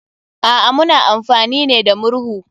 A'a, muna amfani ne da murhu.